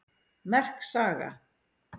Merk saga